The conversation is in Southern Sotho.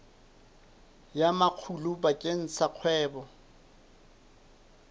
ya makgulo bakeng sa kgwebo